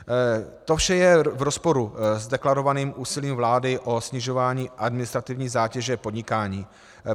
To vše je v rozporu s deklarovaným úsilím vlády o snižování administrativní zátěže podnikání.